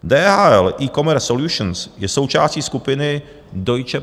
DHL eCommerce Solutions je součástí skupiny Deutsche